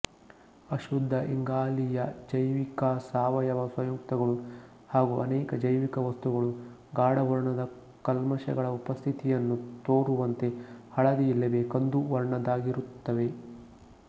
ಅಶುದ್ಧ ಇಂಗಾಲೀಯಜೈವಿಕಸಾವಯವ ಸಂಯುಕ್ತಗಳು ಹಾಗೂ ಅನೇಕ ಜೈವಿಕ ವಸ್ತುಗಳು ಗಾಢವರ್ಣದ ಕಲ್ಮಶಗಳ ಉಪಸ್ಥಿತಿಯನ್ನು ತೋರುವಂತೆ ಹಳದಿ ಇಲ್ಲವೇ ಕಂದು ವರ್ಣದವಾಗಿರುತ್ತವೆ